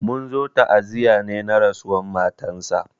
Mun zo ta'aziya ne na rasuwan matansa.